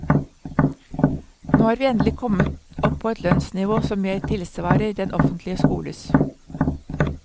Nå har vi endelig kommet opp på et lønnsnivå som mer tilsvarer den offentlige skoles.